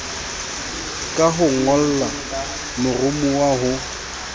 ka ho ngolla moromowa ho